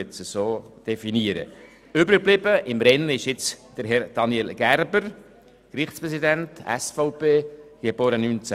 Im Rennen verblieben ist nun Herr Daniel Gerber, Gerichtspräsident, SVP, geboren 1966.